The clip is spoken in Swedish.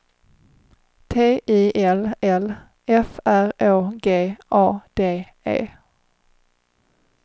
T I L L F R Å G A D E